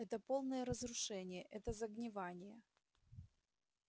это полное разрушение это загнивание